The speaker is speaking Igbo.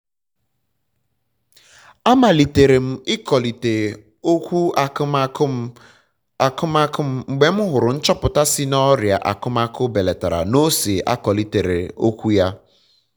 amalitere m ikọlịte okwu akụmakụ m akụmakụ m mgbe m hụrụ nchọpụta sị na ọrịa akụmakụ belatara na ose akọlitere okwu ya